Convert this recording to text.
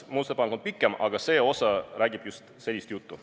Muudatusettepanek ise on pikem, aga see osa räägib just sellist juttu.